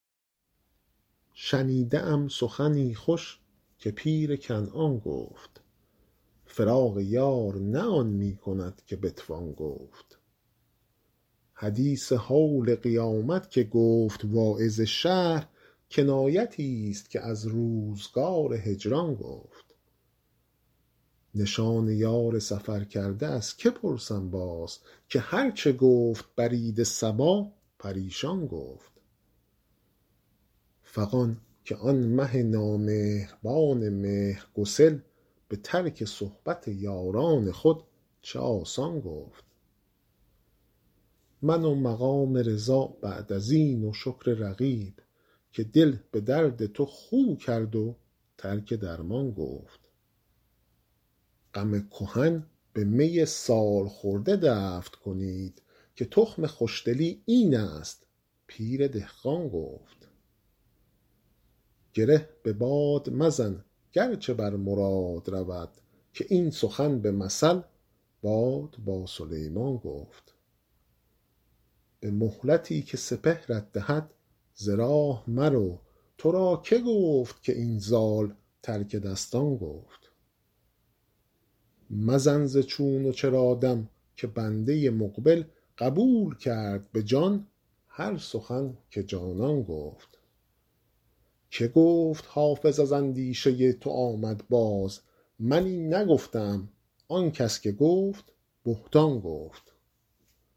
شنیده ام سخنی خوش که پیر کنعان گفت فراق یار نه آن می کند که بتوان گفت حدیث هول قیامت که گفت واعظ شهر کنایتی ست که از روزگار هجران گفت نشان یار سفرکرده از که پرسم باز که هر چه گفت برید صبا پریشان گفت فغان که آن مه نامهربان مهرگسل به ترک صحبت یاران خود چه آسان گفت من و مقام رضا بعد از این و شکر رقیب که دل به درد تو خو کرد و ترک درمان گفت غم کهن به می سال خورده دفع کنید که تخم خوش دلی این است پیر دهقان گفت گره به باد مزن گر چه بر مراد رود که این سخن به مثل باد با سلیمان گفت به مهلتی که سپهرت دهد ز راه مرو تو را که گفت که این زال ترک دستان گفت مزن ز چون و چرا دم که بنده مقبل قبول کرد به جان هر سخن که جانان گفت که گفت حافظ از اندیشه تو آمد باز من این نگفته ام آن کس که گفت بهتان گفت